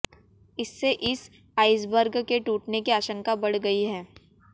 इससे इस आइसबर्ग के टूटने की आशंका बढ़ गई है